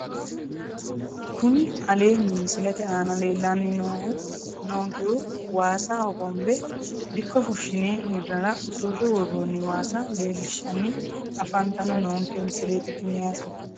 Kuni aleenni misilete aana leellanni noonkehuj waasa hogombe dikko fushshine hirrara usurre worroonni waasa leellishshanni afantanni noonke misileeti tini yaate